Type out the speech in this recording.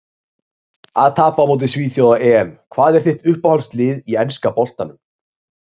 Að tapa á móti svíþjóð á EM Hvað er þitt uppáhaldslið í enska boltanum?